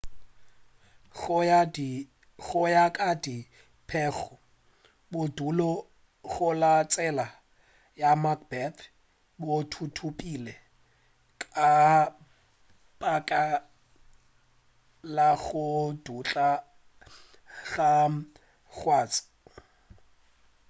go ya ka dipego bodulo go la tsela ya macbeth bo thuthupile ka baka la go dutla ga kgase